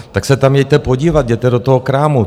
Tak se tam jeďte podívat, jděte do toho krámu.